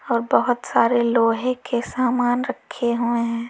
और बहोत सारे लोहे के सामान रखे हुए हैं।